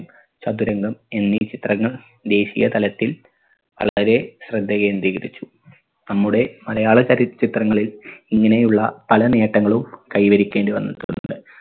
ചതുരംഗം എന്നീ ചിത്രങ്ങൾ ദേശീയ തലത്തിൽ വളരെ ശ്രദ്ധ കേന്ദ്രീകരിച്ചു നമ്മുടെ മലയാള ചലച്ചിത്രങ്ങളിൽ ഇങ്ങനെയുള്ള പല നേട്ടങ്ങളും കൈവരിക്കേണ്ടി വന്നിട്ടുണ്ട്